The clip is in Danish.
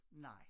Nej